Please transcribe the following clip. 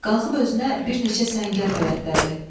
Qalxıb özünə bir neçə səngər bələddədi.